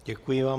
Děkuji vám.